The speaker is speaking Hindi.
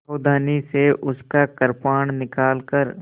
सावधानी से उसका कृपाण निकालकर